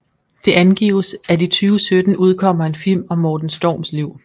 Det angives at i 2017 udkommer en film om Morten Storms liv